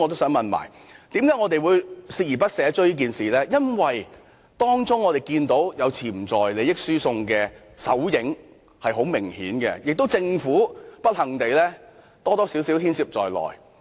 我們鍥而不捨地追問此事，因為我們明顯看到，當中有潛在利益輸送的手影，而不幸地，政府或多或少牽涉在內。